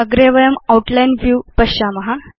अग्रे वयं outline view पश्याम